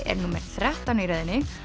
er númer þrettán í röðinni